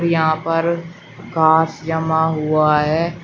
यहां पर घास जमा हुआ है।